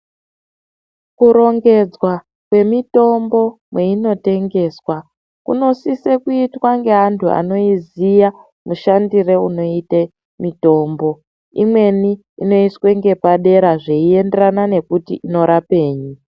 Kurongedzwa kwemitombo mweinotengeswa kunosise kuitwa ngeantu anoiziya mushandire unoite mitombo. Imweni inoiswe ngepadera zveienderana nekuti inorapei.